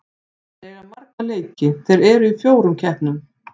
Þeir eiga marga leiki, þeir eru í fjórum keppnum.